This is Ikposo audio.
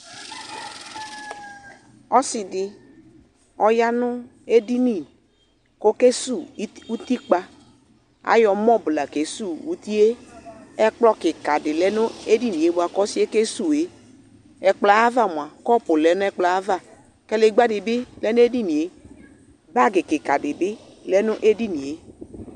Ɔsɩ dɩ, ɔya nʋ edini kʋ ɔkesuwu ɩd utikpa Ayɔ mɔb la kesuwu uti yɛ Ɛkplɔ kɩka dɩ lɛ edini yɛ bʋa kʋ ɔsɩ yɛ kesuwu yɛ Ɛkplɔ yɛ ava mʋa, kɔpʋ lɛ ɛkplɔ yɛ ava Kadegbǝ dɩ bɩ lɛ nʋ edini yɛ Bagɩ kɩka dɩ bɩ lɛ nʋ edini yɛ